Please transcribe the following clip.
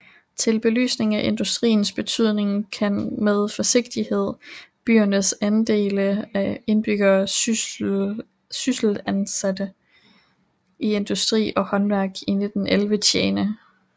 Til belysning af industriens betydning kan med forsigtighed byernes andele af indbyggerne sysselsatte i industri og håndværk 1911 tjene